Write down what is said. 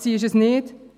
Sie ist es nicht.